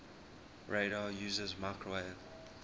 radar uses microwave